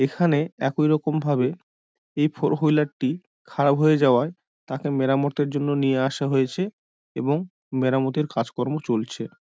এখানে একইরকম ভাবে এই ফোর উইলার -টি খারাপ হয়ে যাওয়ায় তাকে মেরামতের জন্য নিয়ে আসা হয়েছে এবং মেরামতির কাজকর্ম চলছে।